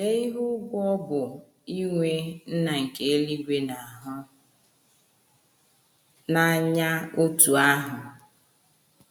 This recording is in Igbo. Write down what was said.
Lee ihe ùgwù ọ bụ inwe Nna nke eluigwe na - ahụ n’anya otú ahụ! ”